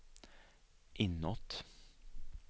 inåt